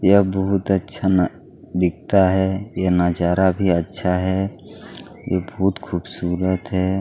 यह बहुत अच्छा न दिखता है यह नजारा भी अच्छा है यह बहुत खूबसूरत है।